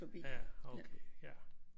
Ja okay ja